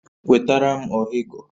Wetara m ọhịgọ